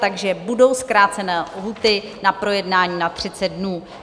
Takže budou zkrácené lhůty na projednání na 30 dnů.